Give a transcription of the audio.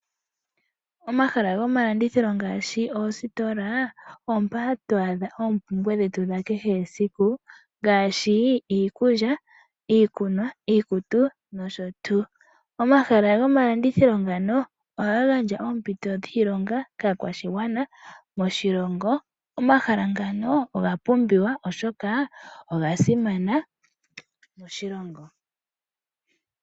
Omahala gomalandithilo ngaashi oositola opo mpoka hatu adha oompumbwe dhetu dhakehe esiku ngaashi iikulya, iikunwa, iikutu nosho tuu. Omahala gomalandithilo ngano ohaga gandja oompito dhiilonga kaakwashigwana moshilongo. Omahala ngano oga pumbiwa, oshoka oga simana moshilongo.